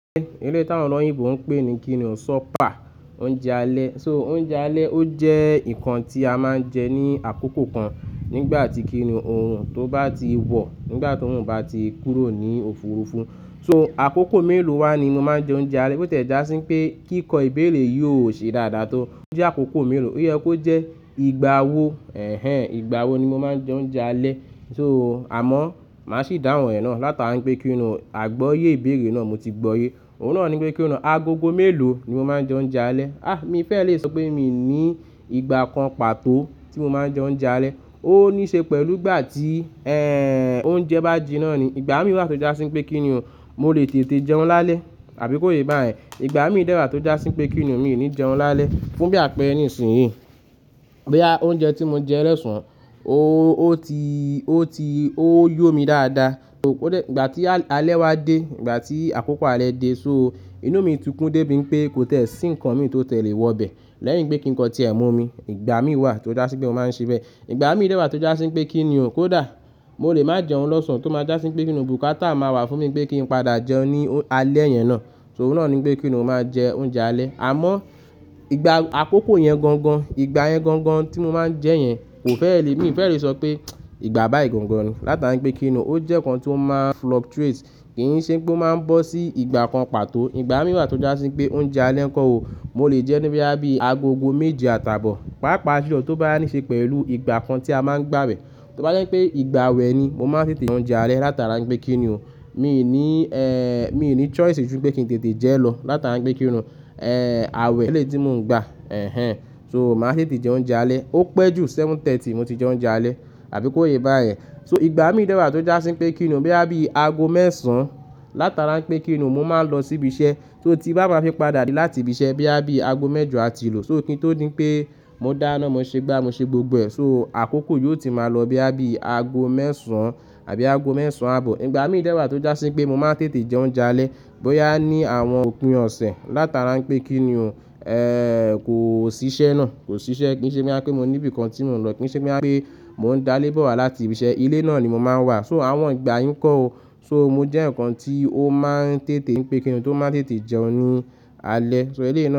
Eleyi táwọn ọ̀lọ̀yìnbọ̀ ń pè ní kíniun supper, oúnjẹ alẹ́. So oúnjẹ alẹ́ ó jẹ́ nǹkan tí a máa ń jẹ ní àkókò kan nígbà tí kíni òrun tó bá ti wọ̀, nígbà tòrun bá ti kúrò ní òfurufú. So àkókò mélòó wá ni mo máa ń jẹ oúnjẹ alẹ́? Bo tẹ̀ já sí pé kíkọ ìbéèrè yìí ò ṣe dáadáa tó. Ó jẹ́ àkókò mélòó, ó yẹ kó jẹ́ ìgbà wo, ẹhẹ́n, ìgbà wo ni mo máa ń jẹ oúnjẹ alẹ́? So àmọ́ màá sì dáhùn ẹ náà látara pé kíniun àgbọ́yé ìbéèrè náà mo ti gbọyé. Òun náà ní wípé kíniun agogo mélòó ni mo máa ń jẹ oúnjẹ alẹ́? À mi fẹ́ lè sọ pé mi ní ìgbà kan pàtó tí mo máa ń jẹ oúnjẹ alẹ́. Ó níí ṣe pẹ̀lú ìgbà tí, ẹ́ n, oúnjẹ bá jiná ni. Ìgbà mí wà tó já sí pé kíniun o mo lè tètè jẹun lálẹ́ àbí kó ye bá yẹn. Ìgbà mí dẹ́wa tó já sí pé kíniun mi ní jẹun lálẹ́. Fún bí àpẹẹrẹ nìsìyí, boyà oúnjẹ tí mo jẹ́ losàn ó ti, ó ti, ó yọ́ mi dáadáa, ó dẹ̀, ìgbà tí alẹ́ wá dé, ìgbà tí àkókò alẹ́ dé, so inú mi tukún dé bi i pé kó tie sí nǹkan mi tó tie le wọ bẹ̀ lẹ́yìn pé kíniun kan tí ẹ̀ mọ̀ mi. Ìgbà mí wà tó já sí pé mo máa ń ṣe bẹ́ẹ̀. Ìgbà mí dẹ́wa tó já sí pé kíniun o kó dà, mo lè máa jẹun lọ́sàn-án tó máa já sí pé kíniun bùkátà máa wà fún mi pé kí n padà jẹun ní alẹ́ yẹn náà. So òun náà ni wípé kíniun mo máa jẹ oúnjẹ alẹ́. Àmọ́ ìgbà àkókò yẹn gangan, ìgbà yẹn gangan tí mo máa ń jẹ́ yẹn kò fẹ́ lè, mi ò fẹ́ lè sọ pé ìgbà bá yi gangan ni. Látara pé kíniun ó jẹ́ nǹkan tí ó máa fluctuate. Kì í ṣe pé ó máa ń bọ́ sí ìgbà kan pàtó. Ìgbà mí wà tó já sí pé oúnjẹ alẹ́ ńkọ́ ó, mo lè jẹun bí boya bí agogo méje àtàbọ̀. Pápàá ju ló to bá wa níí ṣe pẹ̀lú ìgbà kan tí a máa ń gbà wẹ̀. Tó bá jẹ́ pé ìgbà awẹ̀ ni mo máa ń tètè jẹ oúnjẹ alẹ́ látara pé kíniun ni ò mí ni, ẹ́ n, mi ní choice ju pé kí n tètè jẹ́ lọ látara pé kíniun ni o, ẹ́ n, àwẹ̀ eléyi ti mò ń gba, ẹhẹ́n. So màá tètè jẹ oúnjẹ alẹ́. Ó pẹ́ ju méje àbọ̀ mo ti jẹ oúnjẹ alẹ́ àbí kó ye bá yẹn. So ìgbà mí dẹ́wa tó já sí pé kíni o boya bí àbí aago mẹ́ẹ̀sán látara n pé kíniun mo máa lọ síbi iṣẹ́ só ti n bá ma fi padà dé láti ibi iṣẹ́ bí àbí aago mẹ́jọ àti lu. So kí n tó ní pé mó dá iná, mó ṣe gbá, mó ṣe gbogbo ẹ̀. So àkókò yóò ti máa lọ bí àbí aago mẹ́ẹ̀sán àbí aago mẹ́ẹ̀sán àbọ̀. Ìgbà mí dẹ́wa tó já sí pé mo máa ń tètè jẹ oúnjẹ alẹ́ bóyá ní àwọn òpin ọ̀sẹ̀ látara pé kíniun o, ẹ́ n, kò sí iṣẹ́ náà, kò sí iṣẹ́ kì í ṣe boya pé mo ní bí nǹkan tí mò ń lọ, kì í ṣe boya pé mò ń dá lébo wa láti ibi iṣẹ́. Ilé náà ni mò máa ń wà. So àwọn ìgbà yín ńkọ́ ó, so mo jẹ́ yan kan tí ó máa ń tètè, pé kíniun tó máa ń tètè jẹun ní alẹ́. So eleyi náà.